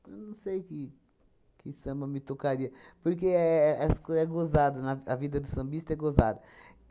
Eu não sei que que samba me tocaria, porque éh é essas coi é gozado na a vida do sambista é gozada.